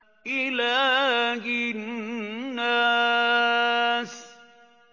إِلَٰهِ النَّاسِ